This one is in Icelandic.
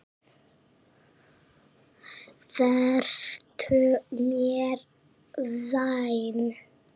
Vertu mér vænn.